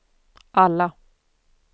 alla